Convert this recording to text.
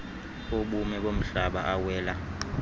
obume bomhlaba awela